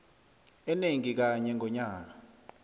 enengi kanye ngonyaka